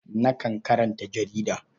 Nakan karanta jarida.